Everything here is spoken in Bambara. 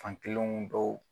Fankelenw dɔw.